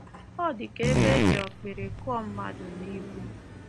Ọ dị ka ebe e ji okpiri kụọ mmadụ n’ihu. ”